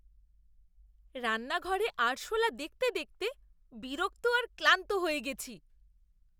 রান্নাঘরে আরশোলা দেখতে দেখতে বিরক্ত আর ক্লান্ত হয়ে গেছি।